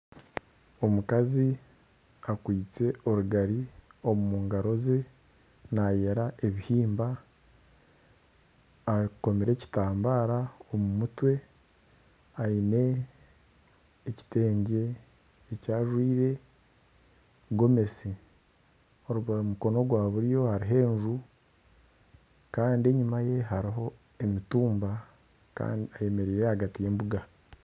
Omukazi akwaitse orugari omu ngaro ze nayera ebihimba akomire ekitambaara omu mutwe. Aine ekitengye eki ajwaire, gomesi. Obwe aha mukono gwa buryo hariho enju. Kandi enyuma ye hariho emitumba kandi ayemereire ahagati y'embuga.